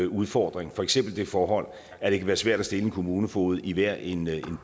udfordring for eksempel det forhold at det kan være svært at stille med en kommunefoged i hver en